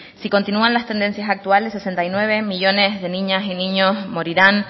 si continúan las tendencias actuales sesenta y nueve millónes de niñas y niños morirán